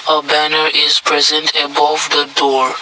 a banner is present above the door.